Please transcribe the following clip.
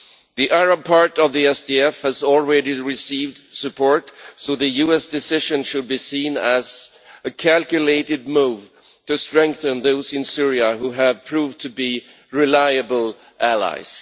The Arab part of the SDF has already received support, so the US decision should be seen as a calculated move to strengthen those in Syria who have proved to be reliable allies.